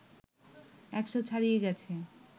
১০০ ছাড়িয়ে গেছে